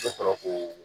Bɛ sɔrɔ k'o